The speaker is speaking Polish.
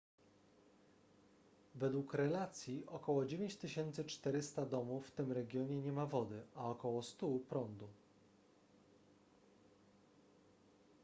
według relacji około 9400 domów w tym regionie nie ma wody a około 100 prądu